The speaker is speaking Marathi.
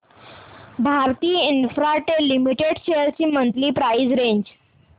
भारती इन्फ्राटेल लिमिटेड शेअर्स ची मंथली प्राइस रेंज